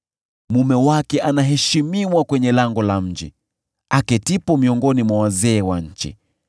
Mume wake anaheshimiwa kwenye lango la mji, aketipo miongoni mwa wazee wa nchi.